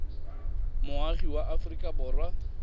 moagi wa aforika borwa ka